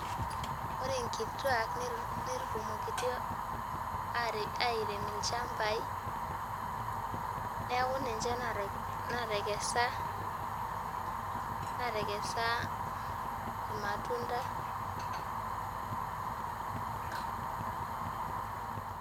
Ore nkituaak netutumokitio aarem ilchambai neeku ninche naatekesa naatekesa irmatunda.